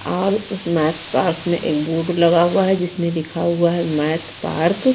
और उसमे पर्स में लगा हुआ है जिसमे लिखा हुआ है मैथ पार्क --